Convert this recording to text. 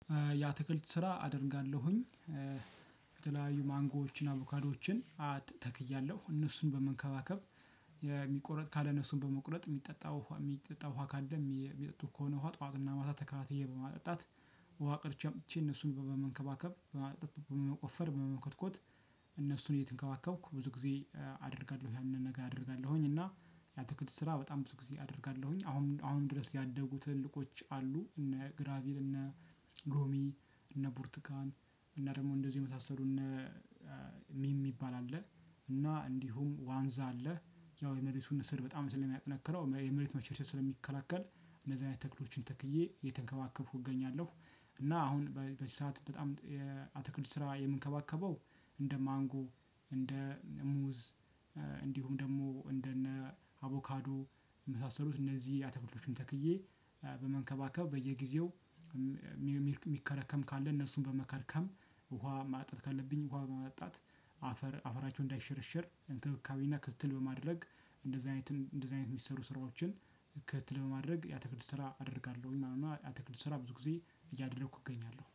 ያትክልት ስራ አደርጋለሁኝ። የተለያዩ ማንጎዎችን አቮካዶችን አት ተክያለሁ እነሱን በመንከባከብ፣ የሚቆረጥ ካለ እነሱን በመቁረጥ የሚጠጣው የሚጠጣው ውሃ ካለም የሚጠጡ ከሆነ ውሃ ጠዋትና ማታ ተከታታይ በማጠጣት፣ ውሃ ቀድቸ አምጥቸ እነሱን በመንከባከብ በማ በመቆፈር በመኮትኮት እነሱን እየተንከባከብኩ ብዙ ጊዜ አደርጋለሁ ያንን ነገ አደርጋለሁኝ። እና ያትክልት ስራ በጣም ብዙ ጊዜ አደርጋለሁኝ። አሁን አሁን ድረስ ያደጉ ትልልቆች አሉ እነ ግራቪል እነ ሎሚ እነ ቡርትካን። እና ደግሞ እንደዚህ የመሳሰሉ እነ ሚም የሚባል አለ፣ እና እንዲሁም ዋንዛ አለ። ያው የመሬቱን ስር በጣም ስለሚያጠነክረው የመሬት መሸርሸር ስለሚከላከል እንደዚያ አይነት ተክሎችን ተክየ እየተንከባከብኩ እገኛለሁ። እና አሁን በዚህ ሰዓት በጣም የአትክልት ስራ የምንከባከበው እንደ ማንጎ፣ እንደ ሙዝ እንዲሁም ደግሞ እንደነ አቮካዶ የመሳሰሉት እነዚህ አተኩሎችን ተክዬ በመንከባከብ በየጊዜው የሚከረከም ካለ እነሱን በመከርከም ውሃ ማጠጣት ካለብኝ ውሃ በማጣት አፈር አፈራችሁን እንዳይሸረሸር እንክብካቤና ክትል በማድረግ እንደዚህ አይነት እንደዚህ አይነት የሚሰሩ ስራዎችን ከትትል በማድረግ የአትክልት ስራ አደርጋለሁኝ ማለት ነው። አተክቱ ስራ ብዙ ጊዜ እያደረኩ እገኛለሁ